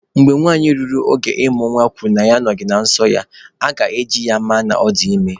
Mgbe nwanyị ruru oge ịmụ nwa kwuru na ya ahụghị nsọ ya, aga-ajụ ya ma ọ dị ime.